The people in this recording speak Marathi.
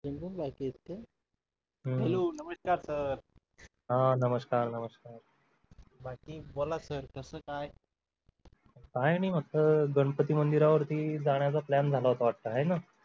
हो नमस्कार sir हा नमस्कार नमस्कार बाकी बोला सर कसं काय काय आणि मस्त गणपती मंदिरावरती जाण्याचा plan झाला होता वाटतं आहे ना